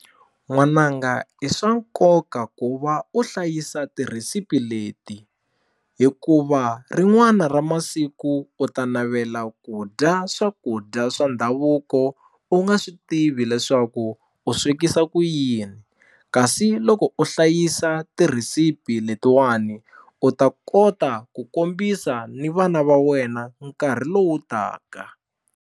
N'wananga i swa nkoka ku va u hlayisa tirhisipi leti hikuva rin'wana ra masiku u ta navela ku dya swakudya swa ndhavuko u nga swi tivi leswaku u swekisa ku yini kasi loko u hlayisa tirhisipi letiwani u ta kota ku kombisa ni vana va wena nkarhi lowu taka.